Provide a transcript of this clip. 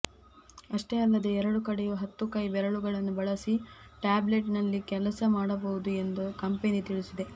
ಅಷ್ಟೇ ಅಲ್ಲದೇ ಎರಡು ಕಡೆಯೂ ಹತ್ತು ಕೈ ಬೆರಳುಗಳನ್ನು ಬಳಸಿ ಟ್ಯಾಬ್ಲೆಟ್ನಲ್ಲಿ ಕೆಲಸ ಮಾಡಬಹುದು ಎಂದು ಕಂಪೆನಿ ತಿಳಿಸಿದೆ